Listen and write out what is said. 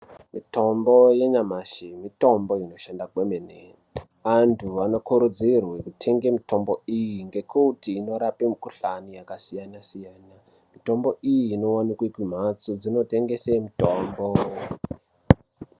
Mitombo yenyamashi mitombo inoshanda kwemene antu anokurudzirwe kutenge mitombo iyi ngekuti inorape mikhuhlani yakasiyanasiyana mitombo iyi inowanikwe kumhatso dzinotengese mitombo.